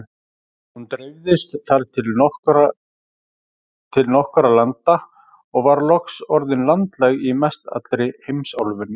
Hún dreifðist þar til nokkurra landa og var loks orðin landlæg í mestallri heimsálfunni.